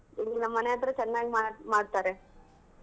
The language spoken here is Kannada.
ಇಲ್ಲಿ ನಮ್ ಮನೆ ಹತ್ರಾ ಚನ್ನಾಗಿ ಮಾ~ ಮಾಡ್ತಾರೆ.